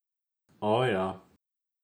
O, ja.